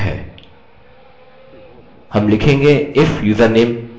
ओह! मैं यहाँ fullname भूल गया अतः मैं इसे यहाँ जोड़ दूँगा